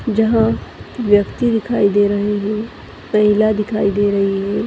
जहाँ व्यक्ति दिखाई दे रहें हैं महिला दिखाई दे रही है।